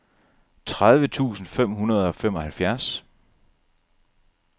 tredive tusind fem hundrede og femoghalvfjerds